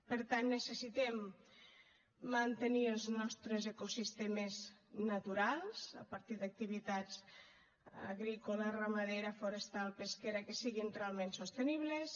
per tant necessitem mantenir els nostres ecosistemes naturals a partir d’activitats agrícola ramadera forestal pesquera que siguin totalment sostenibles